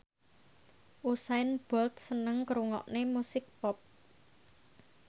Usain Bolt seneng ngrungokne musik pop